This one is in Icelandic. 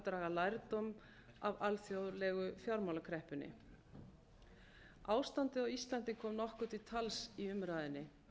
draga lærdóm af alþjóðlegu fjármálakreppunni ástandið á íslandi kom nokkuð til tals í umræðunni